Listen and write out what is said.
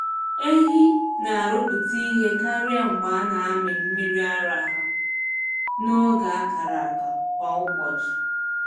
Ehi na-arụpụta ihe karịa mgbe a na-amị mmiri ara ha n’oge a kara aka kwa ụbọchị.